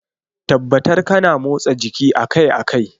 Tabbatar kana motsa jiki akai-akai.